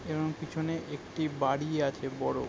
বং পিছনে একটি বাড়ি আছে বড়।